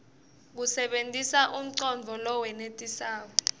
usebentise umcondvo lowenetisako